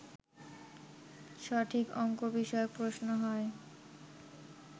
সঠিক অঙ্কবিষয়ক প্রশ্ন হয়